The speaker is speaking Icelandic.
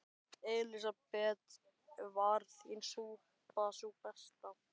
Elísabet: Var þín súpa sú besta?